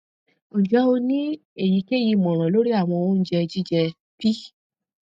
nje o ni eyikeyi imọran lori awọn ounjẹ jijẹ p